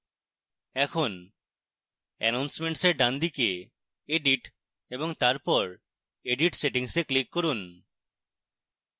এখন announcements এর ডানদিকে edit এবং তারপর edit settings এ click করুন